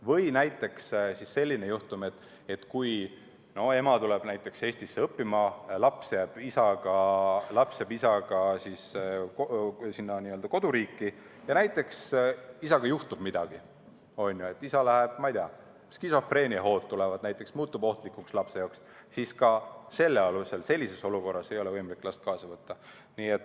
Või näiteks selline juhtum, kui ema tuleb Eestisse õppima, laps jääb isaga koduriiki, isaga näiteks juhtub midagi, isal, ma ei tea, skisofreeniahood näiteks tekivad, ta muutub lapsele ohtlikuks, siis ka sellises olukorras ei ole võimalik last kaasa võtta.